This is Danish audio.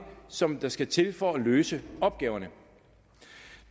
som der skal til for at løse opgaverne